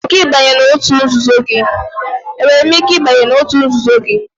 Enwere m ike ịbanye n'òtù nzuzo gị?